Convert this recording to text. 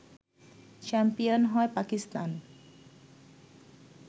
champion হয় পাকিস্তান